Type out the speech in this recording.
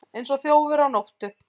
Eins og þjófur á nóttu